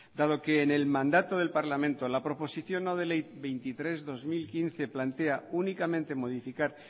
dado que en el mandato del parlamento la proposición no de ley veintitrés barra dos mil quince plantea únicamente modificar